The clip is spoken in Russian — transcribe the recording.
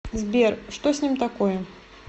сбер что с ним такое